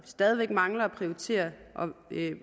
stadig mangler at prioritere